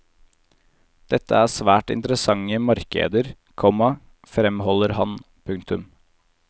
Dette er svært interessante markeder, komma fremholder han. punktum